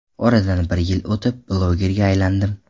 Oradan bir yil o‘tib blogerga aylandim.